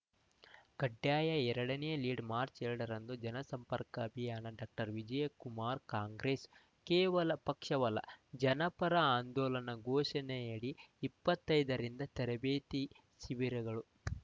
ಕಡ್ಡಾಯ ಎರಡನೇ ಲೀಡ್‌ ಮಾರ್ಚ್ ಎರಡರಂದು ಜನಸಂಪರ್ಕ ಅಭಿಯಾನ ಡಾಕ್ಟರ್ ವಿಜಯಕುಮಾರ್‌ ಕಾಂಗ್ರೆಸ್‌ ಕೇವಲ ಪಕ್ಷವಲ್ಲ ಜನಪರ ಆಂದೋಲನ ಘೋಷಣೆಯಡಿ ಇಪ್ಪತ್ತೈದರಿಂದ ತರಬೇತಿ ಶಿಬಿರಗಳು